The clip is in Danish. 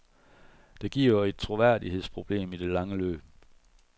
Det giver et troværdighedsproblem i det lange løb.